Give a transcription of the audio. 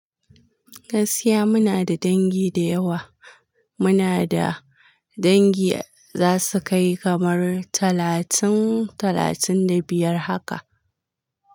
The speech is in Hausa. Gaskiya muna da dangi da yawa. Muna da dangi za su kai kamar talatin, talatin da biyar haka.